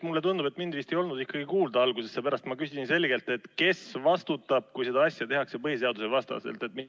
Mulle tundub, et mind vist ei olnud ikkagi kuulda alguses, seepärast et ma küsisin selgelt, kes vastutab, kui seda asja tehakse põhiseaduse vastaselt.